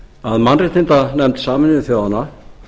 að mannréttindanefnd sameinuðu þjóðanna